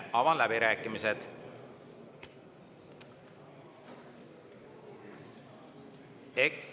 Avan läbirääkimised.